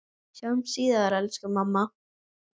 Sjáumst síðar, elsku amma.